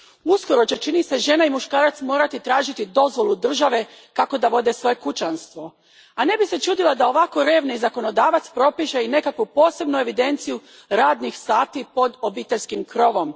Uskoro će, čini se, žena i muškarac morati tražiti dozvolu države kako da vode svoje kućanstvo, a ne bih se čudila da ovako revni zakonodavac propiše i nekakvu posebnu evidenciju radnih sati pod obiteljskim krovom.